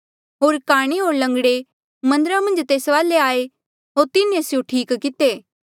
होर काणे होर लंगड़े मन्दरा मन्झ तेस वाले आये होर तिन्हें स्यों ठीक किते